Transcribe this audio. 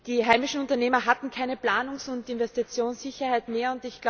Die heimischen Unternehmer hatten keine Planungs und Investitionssicherheit mehr.